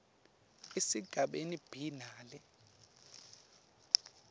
esigabeni b nale